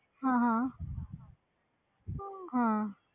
ਹਾਂ ਹਾਂ ਹਾਂ